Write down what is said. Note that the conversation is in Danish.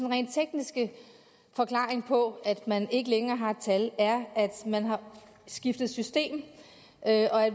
rent tekniske forklaring på at man ikke længere har et tal er at man har skiftet system